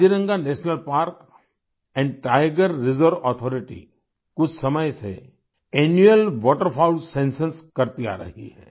Kaziranga national park tiger reserve authority कुछ समय से एनुअल वाटरफाउल्स सेंसस करती आ रही है